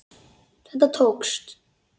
Þetta tókst.